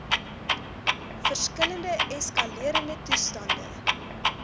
verskillende eskalerende toestande